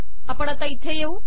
आपण इथे येऊ